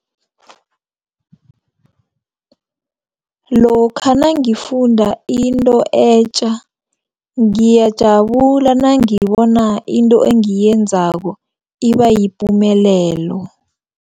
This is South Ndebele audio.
Lokha nangifunda into etja ngiyajabula nangibona into engiyenzako ibayipumelelo.